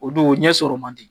O dun o ɲɛ sɔrɔ man di